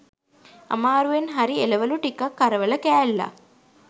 අමාරුවෙන් හරි එළවළු ටිකක් කරවල කෑල්ලක්